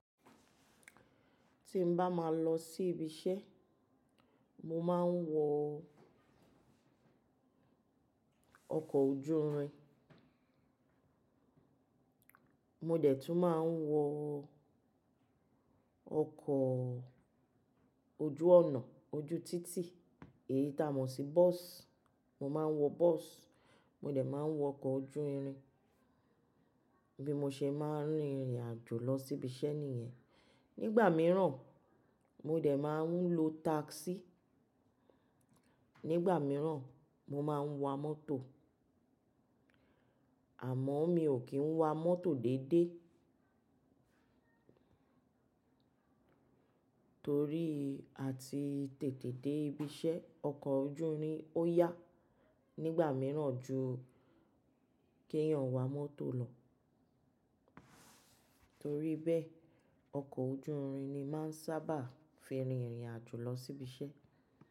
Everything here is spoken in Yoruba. Tí n bá máa lọ sí ibi iṣẹ́, mo máa ń wọ ọkọ̀ ojú irin. Mo dẹ̀ tún máa ń wọ ọkọ̀ ojú ọ̀nà ojú títì, èyí ta mọ̀ sí bọ́sì. Mo máa ń wọ bọ́sì, mo dẹ̀ máa ń wọ ọkọ̀ ojú irin. Bí mo ṣe máa ń rìnrìn àjò lọ sí ibi iṣẹ́ nìyẹn. Nígbà mìíràn, mo dẹ̀ máa ń lo táksì. Nígbà mìíràn, mo máa ń wa mọ́tò. Àmọ́ mi ò kí ń wa mọ́tò dédé torí àti tètè dé ibi iṣẹ́, ọkọ̀ ojú irin ó yá nígbà mìíràn ju kí èèyàn wa mọ́tò lọ. Torí bẹ́ẹ̀, ọkọ̀ ojú irin ni máa ń sábà fi rìnrìn àjò lọ sí ibi iṣẹ́.